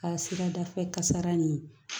Ka sirada fɛ kasara ɲini